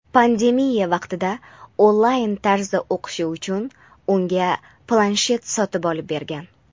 Pandemiya vaqtida onlayn tarzda o‘qishi uchun unga planshet sotib olib bergan.